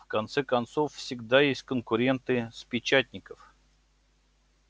в конце концов всегда есть конкуренты с печатников